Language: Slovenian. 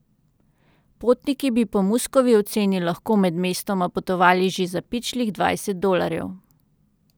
Potniki bi po Muskovi oceni lahko med mestoma potovali že za pičlih dvajset dolarjev.